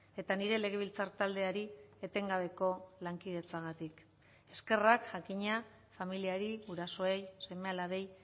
eta nire legebiltzar taldeari etengabeko lankidetzagatik eskerrak jakina familiari gurasoei seme alabeei